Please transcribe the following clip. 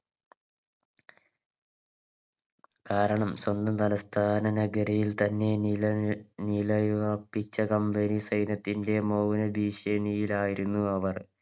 കാരണം സ്വന്തം തലസ്ഥാന നഗരിയിൽ തന്നെ നിലയി നിലയുറപ്പിച്ച Company സൈന്യത്തിൻറെ മൗന ഭീഷണിയിലായിയുന്നു അവർ